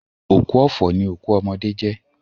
Òkú ọ̀fọ̀ ni òkú ọmọdé jẹ́